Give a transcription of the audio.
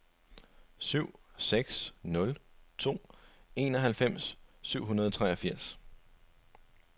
syv seks nul to enoghalvfems syv hundrede og treogfirs